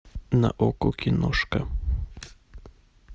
на окко киношка